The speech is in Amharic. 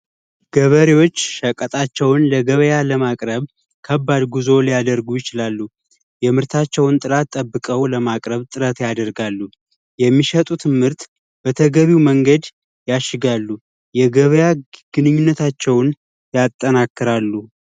ገበሬዎች ሸቀጦቻቸውን ለገበያ ለማቅረብ ከባድ ጉዞ ሊያደርጉ ይችላሉ። የምርታቸውን ጥራት ጠብቀው ለማቅረብ ጥረት ያደርጋሉ። የሚሸጡትም ምርት ምርት በተገቢው መንገድ ያሽጋሉ። የገበያ ግንኙነታቸውን ያጠናቅራሉ።